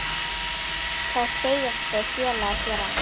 Það segjast þeir félagar gera.